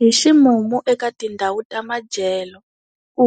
Hi ximumu eka tindhawu ta madyelo, ku